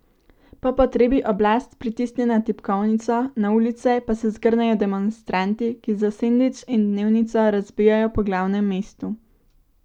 Po potrebi oblast pritisne na tipkovnico, na ulice pa se zgrnejo demonstranti, ki za sendvič in dnevnico razbijajo po glavnem mestu.